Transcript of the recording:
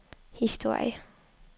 historie